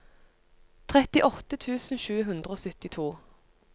trettiåtte tusen sju hundre og syttito